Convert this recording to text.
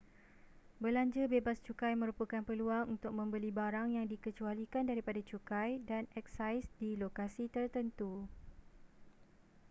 belanja bebas cukai merupakan peluang untuk membeli barang yang dikecualikan daripada cukai dan eksais di lokasi tertentu